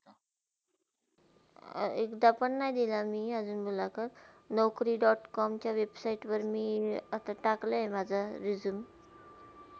अं एकदा पण नाही दिल मी अजुन मुलाकात naukri dot com च्यावर website वर मी आता टाकले अहे आता माझा resume